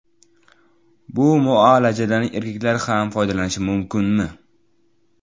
Bu muolajadan erkaklar ham foydalanishi mumkinmi?